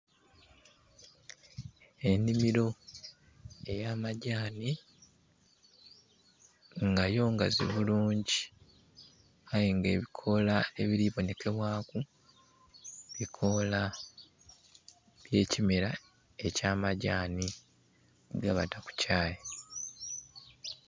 Enhimiro eya madhani nga yo ngazi bulungi aye nga ebikola ebili bonhekebwaku, bikoloa bye kimera ekya madhani ge bata ku kyayi.